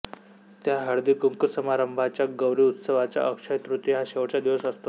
त्या हळदीकुंकू समारंभांचा गौरी उत्सवाचा अक्षय्य तृतीया हा शेवटचा दिवस असतो